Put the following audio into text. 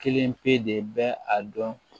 Kelen pe de bɛ a dɔn